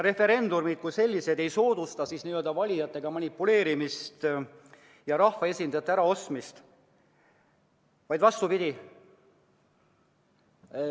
Referendumid kui sellised ei soodusta valijatega manipuleerimist ja rahvaesindajate äraostmist, vaid vastupidi.